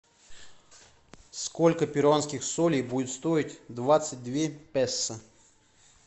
сколько перуанских солей будет стоить двадцать две песо